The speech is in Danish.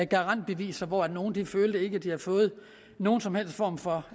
garantbeviser hvor at nogle ikke følte at de havde fået nogen som helst form for